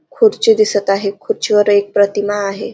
खुर्ची दिसत आहे खुर्चीवर एक प्रतिमा आहे.